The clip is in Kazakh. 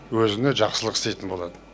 өзіне жақсылық істейтін болады